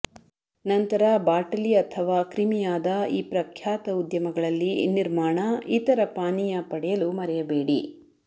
ನಂತರ ಬಾಟಲಿ ಅಥವಾ ಕ್ರಿಮಿಯಾದ ಈ ಪ್ರಖ್ಯಾತ ಉದ್ಯಮಗಳಲ್ಲಿ ನಿರ್ಮಾಣ ಇತರ ಪಾನೀಯ ಪಡೆಯಲು ಮರೆಯಬೇಡಿ